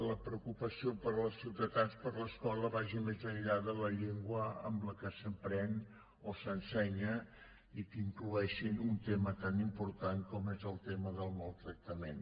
la preocupació de ciutadans per l’escola vagi més enllà de la llengua en la que s’aprèn o s’ensenya i que incloguin un tema tan important com és el tema del maltractament